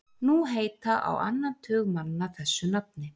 Nú heita á annan tug manna þessu nafni.